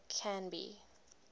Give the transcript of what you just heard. canby